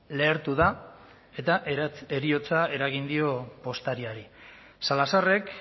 lehertu da eta heriotza eragin dio postariari salazarrek